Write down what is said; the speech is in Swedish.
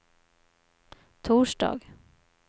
torsdag